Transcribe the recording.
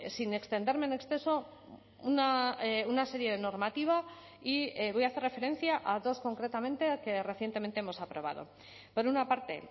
sin extenderme en exceso una serie de normativa y voy a hacer referencia a dos concretamente que recientemente hemos aprobado por una parte